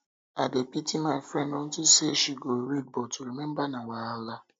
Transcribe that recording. i dey pity my friend unto say she go dey read but to remember na wahala